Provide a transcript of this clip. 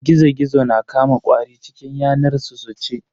Gizo-Gizo na Kama ƙwari cikin yanar su su ci.